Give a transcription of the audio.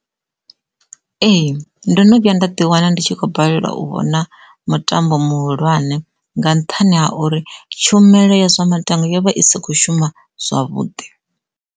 Ee ndo no vhuya nda ḓi wana ndi tshi khou balelwa u vhona mutambo muhulwane nga nṱhani ha uri tshumelo ya zwa maṱangwa yovha i sa kho shuma zwavhuḓi.